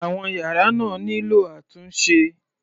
Àwọn yàrá náà nílò àtúnṣe.